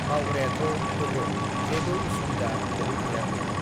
माउग्रायाथ' ओहो जेबो उसुबिदा गोलैथ'याखै।